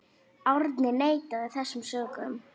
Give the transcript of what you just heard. Árni neitaði þessum sökum.